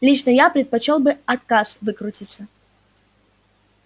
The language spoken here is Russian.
лично я предпочёл бы отказ выкрутиться